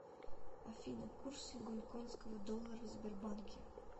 афина курсы гонконгского доллара в сбербанке